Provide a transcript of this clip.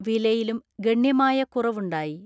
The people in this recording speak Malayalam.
വിലയിലും ഗണ്യമായ കുറവുണ്ടായി.